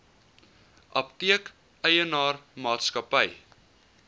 apteek eienaar maatskappy